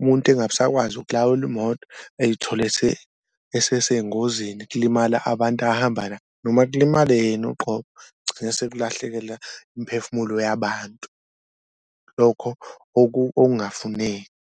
umuntu engabe esakwazi ukulawula imoto ey'thole esesengozini kulimala abantu ahamba noma kulimale yena uqobo. Kugcina sekulahlekela imiphefumulo yabantu lokho okungafuneki.